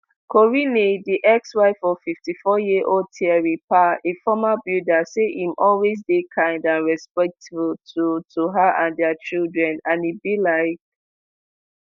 corinne di exwife of fifty-fouryearold thierry pa a former builder say im always dey kind and respectful to to her and dia children and e belike